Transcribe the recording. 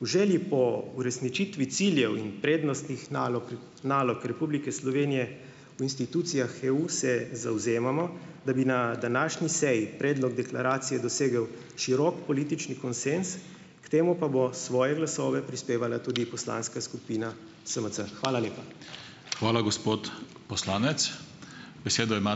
V želji po uresničitvi ciljev in prednostnih nalog, nalog Republike Slovenije v institucijah EU se zavzemamo, da bi na današnji seji predlog deklaracije dosegel širok politični konsenz, k temu pa bo svoje glasove prispevala tudi poslanska skupina SMC. Hvala lepa. Hvala, gospod poslanec, besedo ima ...